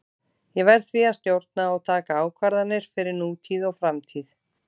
Ég verð því að stjórna og taka ákvarðanir fyrir nútíð og framtíð.